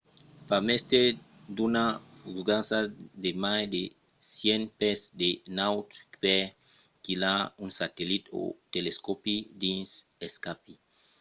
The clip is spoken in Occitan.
fa mestièr d'una fusada giganta de mai de 100 pès de naut per quilhar un satellit o un telescòpi dins l’espaci